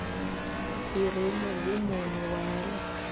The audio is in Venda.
i re mugumoni wa heḽi